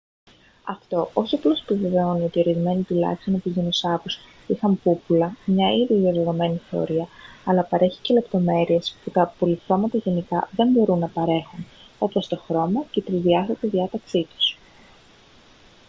αυτό όχι απλώς επιβεβαιώνει ότι ορισμένοι τουλάχιστον από τους δεινοσαύρους είχαν πούπουλα μια ήδη διαδεδομένη θεωρία αλλά παρέχει και λεπτομέρειες που τα απολιθώματα γενικά δεν μπορούν να παρέχουν όπως το χρώμα και την τρισδιάστατη διάταξή τους